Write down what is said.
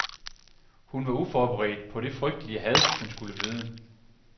Hun var uforberedt på det frygtelig had, hun skulle møde.